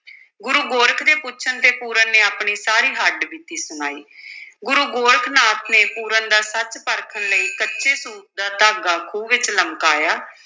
ਗੁਰੂ ਗੋਰਖ ਦੇ ਪੁੱਛਣ ਤੇ ਪੂਰਨ ਨੇ ਆਪਣੀ ਸਾਰੀ ਹੱਡ-ਬੀਤੀ ਸੁਣਾਈ ਗੁਰੂ ਗੋਰਖ ਨਾਥ ਨੇ ਪੂਰਨ ਦਾ ਸੱਚ ਪਰਖਣ ਲਈ ਕੱਚੇ ਸੂਤ ਦਾ ਧਾਗਾ ਖੂਹ ਵਿੱਚ ਲਮਕਾਇਆ।